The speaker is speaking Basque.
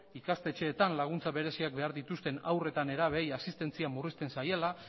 ikastetxeetan laguntza bereziak behar dituzten haur eta nerabeei asistentzia murrizten zaiela